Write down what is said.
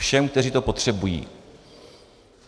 Všem, kteří to potřebují.